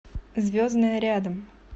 звездная рядом